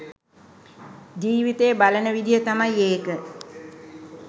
ජීවිතය බලන විදිහ තමයි ඒක.